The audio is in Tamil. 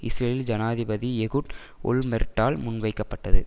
இஸ்ரேலில் ஜனாதிபதி எகுட் ஓல்மெர்ட்டால் முன்வைக்கப்பட்டது